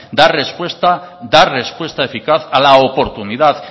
dar respuesta dar respuesta eficaz a la oportunidad